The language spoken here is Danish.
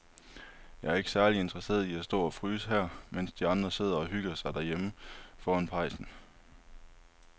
Jeg er ikke særlig interesseret i at stå og fryse her, mens de andre sidder og hygger sig derhjemme foran pejsen.